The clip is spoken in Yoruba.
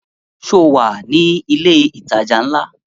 Sọ wà ní ilẹ̀ ìtajà ńlá?